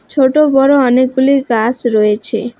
ছোটো বড়ো অনেকগুলি গাস রয়েছে।